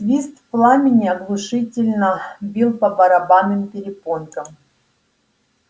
свист пламени оглушительно бил по барабанным перепонкам